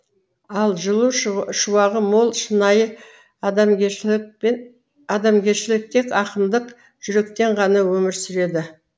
ал жылу шуағы мол шынайы адамгершілік тек ақындық жүректе ғана өмір сүреді